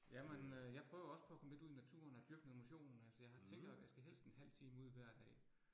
Jamen øh jeg prøver også på at komme lidt ud i naturen og dyrke noget motion, altså jeg tænker, at jeg skal helst en halv time ud hver dag